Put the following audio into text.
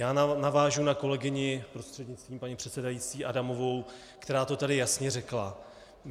Já navážu na kolegyni, prostřednictvím paní předsedající, Adamovou, která to tady jasně řekla.